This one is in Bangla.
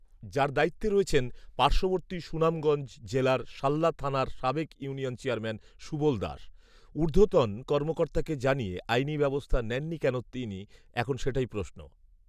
যার দায়িত্বে রয়েছেন পার্শবর্তী সুনামগঞ্জ জেলার শাল্লা থানার সাবেক ইউনিয়ন চেয়ারম্যান সুবল দাস ৷ঊর্ধ্বতন কর্মকর্তাকে জানিয়ে আইনি ব্যবস্থা নেননি কেন তিনি, এখন সেটাই প্রশ্ন।